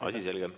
Asi selge.